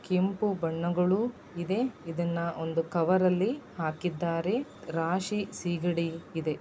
ಕೆಂಪು ಬಣ್ಣಗಳು ಇದೆ ಇದನ್ನ ಒಂದು ಕಾವೇರಲ್ಲಿ ಹಾಕಿದ್ದಾರೆ ರಾಶಿ ಸೀಗಡಿ ಇದೆ.